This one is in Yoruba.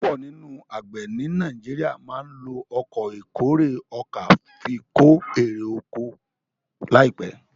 púpọ nínú àgbè ní Nàìjíríà má ló Ọkọ̀ ìkórè ọkà fí ko ero ọkọ̀ láìpé.